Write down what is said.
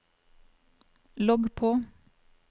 logg på